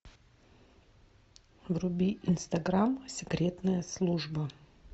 вруби инстаграм секретная служба